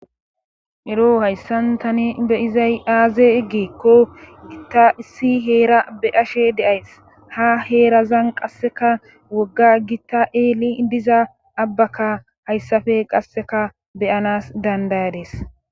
Ero hayssan tani beyizay aaze giekko gitta issi heera beyashe deays ha heerazan qasseka wogga gitta eeli diza abbaka hayssafe qasseka beyanas dandayades.